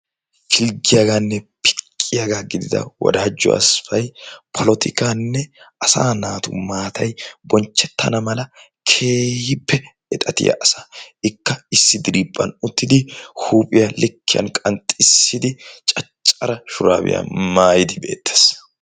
Pilggiyaaganne piqqiyaaga gidida Wodajo Asfay polatikkanne Asa naatu maatay bonchchetana mala keehippe exatiya asa. Ikka issi diriphphan uttidi huuphphiya likiyaan qanxxissidi caccara shurabiya maayyidi beettes.